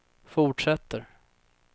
fortsätter